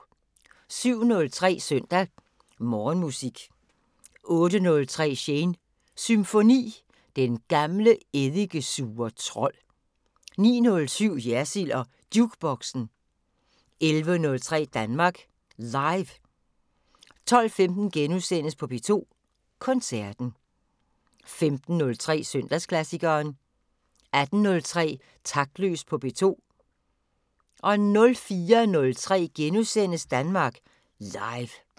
07:03: Søndag Morgenmusik 08:03: Shanes Symfoni – Den gamle, eddikesure trold 09:07: Jersild & Jukeboxen 11:03: Danmark Live 12:15: P2 Koncerten * 15:03: Søndagsklassikeren 18:03: Taktløs på P2 04:03: Danmark Live *